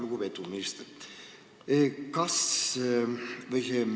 Lugupeetud minister!